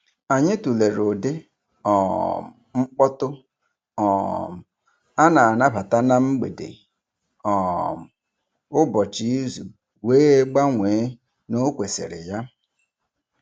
Anyị tụlere ụdị um mkpọtụ um a na-anabata na mgbede um ụbọchị izu wee gbanwee n'okwesiri ya.